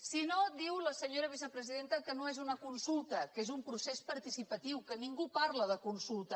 si no diu la senyora vicepresidenta que no és una consulta que és un procés participatiu que ningú parla de consulta